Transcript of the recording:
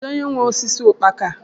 Kedụ onye nwe osisi ukpaka a?